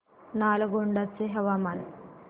नालगोंडा चे हवामान